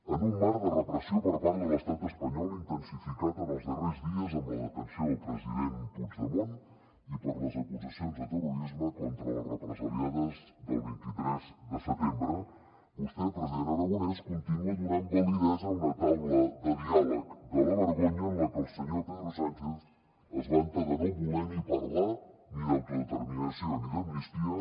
en un marc de repressió per part de l’estat espanyol intensificat en els darrers dies per la detenció del president puigdemont i per les acusacions de terrorisme contra les represaliades del vint tres de setembre vostè president aragonès continua donant validesa a una taula de diàleg de la vergonya en la que el senyor pedro sánchez es vanta de no voler ni parlar ni d’autodeterminació ni d’amnistia